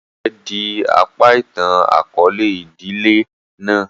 Ìtan rẹ di apa itan-akọọlẹ idile náà.